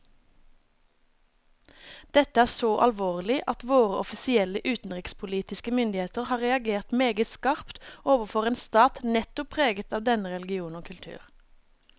Dette er så alvorlig at våre offisielle utenrikspolitiske myndigheter har reagert meget skarpt overfor en stat nettopp preget av denne religion og kultur.